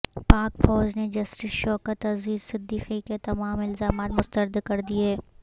پاک فوج نے جسٹس شوکت عزیزصدیقی کے تمام الزامات مسترد کردیے